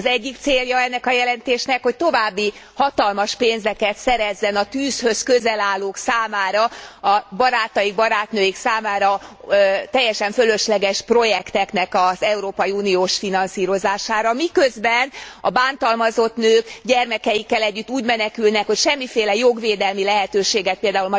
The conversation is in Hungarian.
Az egyik célja ennek a jelentésnek, hogy további hatalmas pénzeket szerezzen a tűzhöz közel állók számára a barátaik, barátnőik számára teljesen fölösleges projektek európai uniós finanszírozására. Miközben a bántalmazott nők gyermekeikkel együtt úgy menekülnek, hogy semmiféle jogvédelmi lehetőséget pl.